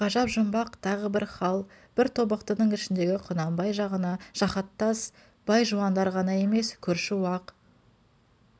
ғажап жұмбақ тағы бір хал бір тобықтының ішіндегі құнанбай жағына жаһаттас бай-жуандар ғана емес көрші уақ